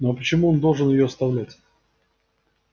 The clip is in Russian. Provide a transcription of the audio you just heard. ну а почему он должен её оставлять